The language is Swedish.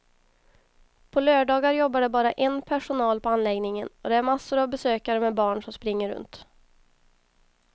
På lördagar jobbar det bara en personal på anläggningen och det är massor av besökare med barn som springer runt.